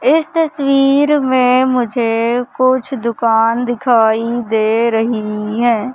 इस तस्वीर में मुझे कुछ दुकान दिखाई दे रही हैं।